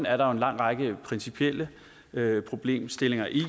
er der en lang række principielle problemstillinger i at